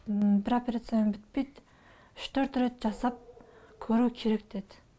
ммм бір операциямен бітпейді үш төрт рет жасап көру керек деді